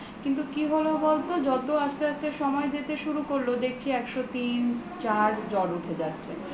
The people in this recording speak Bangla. কিন্তু কি হলো বলত যত আসতে আসতে সময় যেতে শুরু করলো দেখছি একশো তিন চার জ্বর উঠে যাচ্ছে